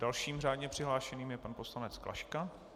Dalším řádně přihlášeným je pan poslanec Klaška.